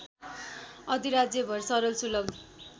अधिराज्यभर सरल सुलभ